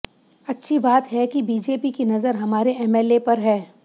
अच्छी बात है कि बीजेपी की नज़र हमारे एमएलए पर है